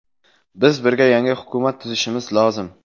Biz birga yangi hukumat tuzishimiz lozim.